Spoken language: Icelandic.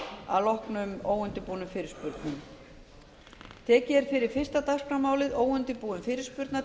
um afbrigði klukkan ellefu í dag að loknum óundirbúnum fyrirspurnum